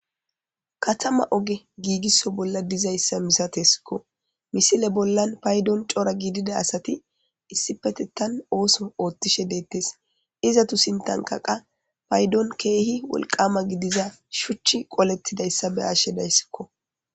katama oge giigisso bolla dizayssa misatesikko misile bollan paydon cora giidida asati issipetettan ooso oothtishe deettes izatu sintanka qa paydon keehi wolqama gidiza shuchchi qolettidayssa be'ashe dayssikko